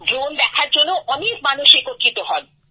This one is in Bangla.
ড্রোন দেখার জন্য অনেক মানুষ একত্রিত হন